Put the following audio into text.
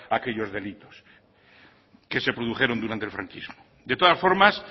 aquellos delitos que se produjeron durante el franquismo de todas formas